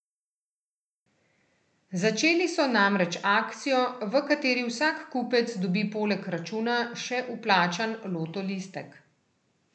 Začeli so namreč akcijo, v kateri vsak kupec dobi poleg računa še vplačan loto listek.